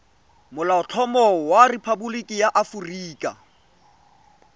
molaotlhomo wa rephaboliki ya aforika